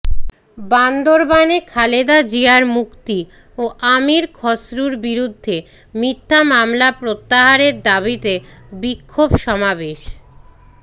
বান্দরবানে খালেদা জিয়ার মুক্তি ও আমীর খসরুর বিরুদ্ধে মিথ্যা মামলা প্রত্যাহারের দাবীতে বিক্ষোভ সমাবেশ